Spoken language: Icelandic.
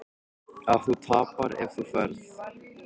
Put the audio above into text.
Að þú tapar ef þú ferð.